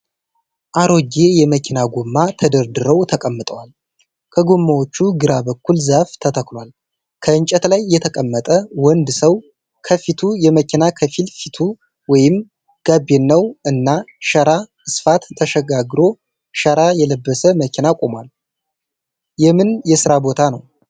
አሮጌ የመኪና ጎማ ተደርድረዉ ተቀምጠዋል። ከጎማዎቹ ግራ በኩል ዛፍ ተተክሏል። ከእንጨት ላይ የተቀመጠ ወንድ ሰዉ ከፊቱ የመኪና ከፊል ፊቱ ወይም ጋቢናዉ እና ሸራ አስፋት ተሻግሮ ሸራ የለበሰ መኪና ቆሟል። የምን የስራ ቦታ ነዉ?